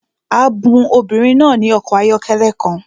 A bun obìnrin náà ní ọkọ̀ ayọ́kẹ́lẹ́ kan